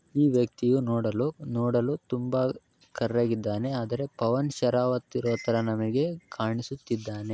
ಈ ವ್ಯಕ್ತಿಯು ನೋಡಲು ನೋಡಲು ತುಂಬಾ ಕರ್ರಗಿದ್ದಾನೆ ಆದರೆ ಪವನ್ ಶರವತ್ ಇರೋತರ ನಮಗೆ ಕಾಣಿಸುತ್ತಿದ್ದಾನೆ.